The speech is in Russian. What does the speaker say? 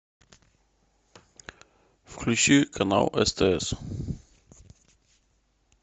включи канал стс